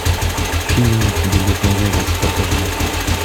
фильм билет на вегас покажи